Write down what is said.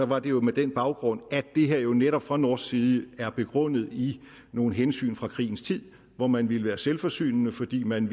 var det jo med den baggrund at det her jo netop fra norsk side er begrundet i nogle hensyn fra krigens tid hvor man ville være selvforsynende fordi man